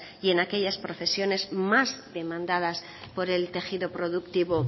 y en aquellas profesiones más demandadas por el tejido productivo